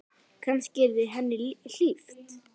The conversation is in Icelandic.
Kannski yrði henni hlíft.